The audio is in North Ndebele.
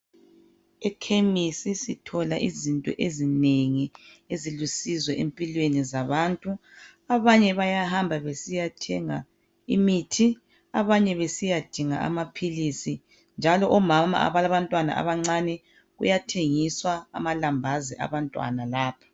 Ekhemisi sithola izinto ezinengi ezilusizo empilweni zabantu, abanye bayahambabesiyathenga imithi, abanye besiyadinga amaphilisi njalo omama abalabantwana abancane, kuyathengiswa amalambazi abantwana lapha.